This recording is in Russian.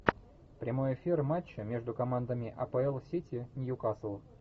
прямой эфир матча между командами апл сити ньюкасл